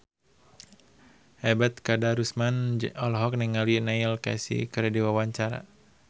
Ebet Kadarusman olohok ningali Neil Casey keur diwawancara